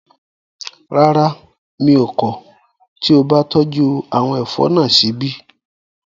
Rárá, mi ò kọ̀ tí o bá tọ́jú àwọn ẹ̀fọ́ náà síbí